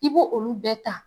I b'o olu bɛɛ ta